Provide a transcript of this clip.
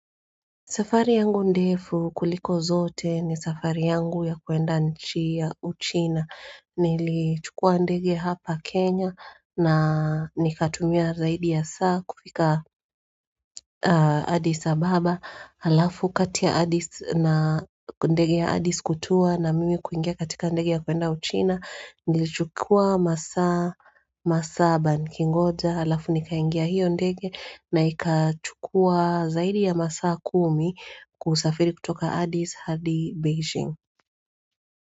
Safari yangu ndefu kuliko zote ni safari yangu ya kuenda nchi ya uchina. Nilichukua ndege hapa Kenya na nikatumia zaidi ya saa kufika Addis Ababa. Alafu kati ya Addis na ndege ya Addis kutua na mimi kuingia katika ndege ya kuenda uchina. Nilichukua masaa, masaa haba nikingoja. Alafu nikaingia hiyo ndege na ikachukua zaidi ya masaa kumi kusafiri kutoka Addis hadi Beijing.